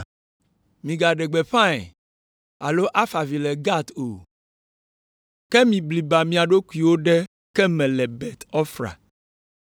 Migaɖe gbeƒãe alo afa avi le Gat o. Ke mibliba mia ɖokuiwo ɖe ke me le Bet Ofra.